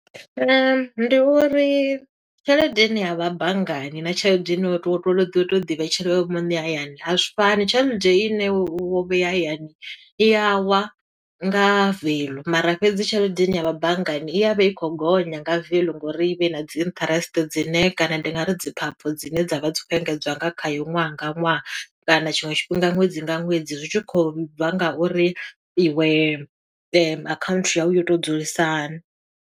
Ndi uri tshelede ine ya vha banngani, na tshelede ine wo to wo to ḓi vhetshela iwe muṋe hayani. A zwi fani, tshelede i ne wo vhea hayani, i yawa nga veḽu mara fhedzi tshelede ine ya vha banngani, i ya vha i khou gonya nga veḽu ngo uri i vhe i na dzi interest dzine kana ndi nga ri dzi khaphi dzine dza vha dzi khou engedzwa nga khayo ṅwaha nga ṅwaha. Kana tshiṅwe tshifhinga ṅwedzi nga ṅwedzi, zwi tshi kho bva nga uri i we akhaunthu yau yo to dzulisa hani.